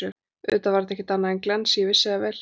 Auðvitað var þetta ekkert annað en glens, ég vissi það vel.